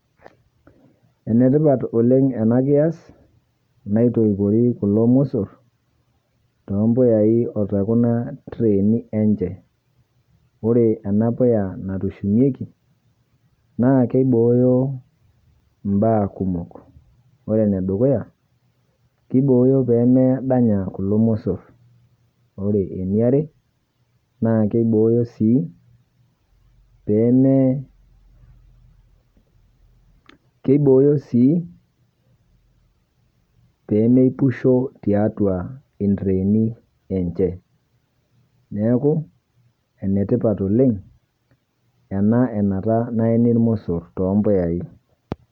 Enetipat oleng ena kias naitoipoi kulo musoor to mbuyai oto kuna tirieni enchee. Ore ena kuyaa natushinyeki naa keibooyo baya kumook. Ore ne dukuya kebooyo pee medanya kulo musoor. Ore enia aare naa keiboyo sii pee, keiboyo sii pee meipushoo te atua iltirieni lenchee. Neeku enetipat oleng ena enataa neeni musoor to mbuyai.